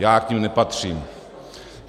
Já k nim nepatřím.